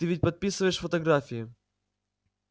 ты ведь подписываешь фотографии